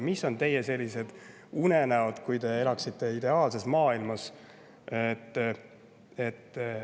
Mis on teie, kui te elaksite ideaalses maailmas?